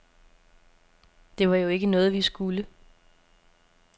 Det var jo ikke noget, vi skulle.